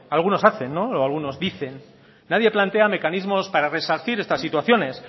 algunos hacen o algunos dicen nadie plantea mecanismos para resarcir estas situaciones